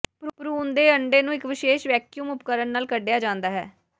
ਭਰੂਣ ਦੇ ਅੰਡੇ ਨੂੰ ਇੱਕ ਵਿਸ਼ੇਸ਼ ਵੈਕਯੂਮ ਉਪਕਰਣ ਨਾਲ ਕੱਢਿਆ ਜਾਂਦਾ ਹੈ